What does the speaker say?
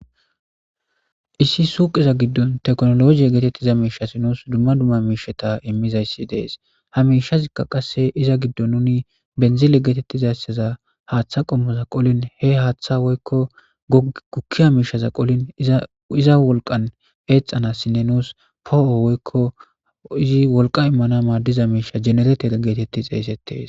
Issi suuqiza giddon teknologiye geetettiza miishasi nuus dumma dumma miisheta immizayssi dees hamishazikka qasse iza giddo nuni benzile geetettizaysseza haaththa qommoza qolin he haaththa woykko gukki a miishaza qolin iza wolqan eexanassinne nuus poo7o woykko izi wolqa immana maaddiza miisha jeneretea geetetti xeeysettees.